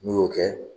N'u y'o kɛ